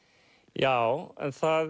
já en það